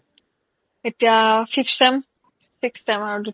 এতিয়া fifth sem sixth sem ৰ কি